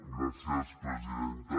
gràcies presidenta